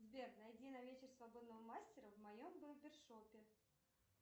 сбер найди на вечер свободного мастера в моем барбер шопе